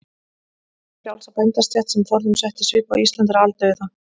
Hin frjálsa bændastétt, sem forðum setti svip á Ísland, er aldauða.